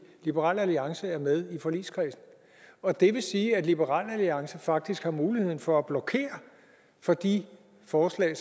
liberal alliance er med i forligskredsen og det vil sige at liberal alliance faktisk har muligheden for at blokere for de forslag